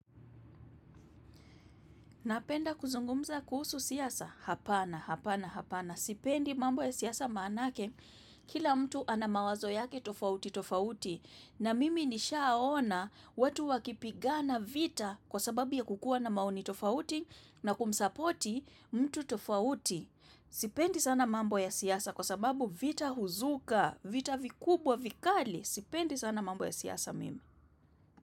Napenda kuzungumza kuhusu siasa, hapana, hapana, hapana, sipendi mambo ya siasa maanake, kila mtu ana mawazo yake tofauti, tofauti, na mimi nishaaona watu wakipigana vita kwa sababu ya kukua na maoni tofauti na kumsapoti mtu tofauti. Sipendi sana mambo ya siasa kwa sababu vita huzuka, vita vikubwa, vikali, sipendi sana mambo ya siasa mimi.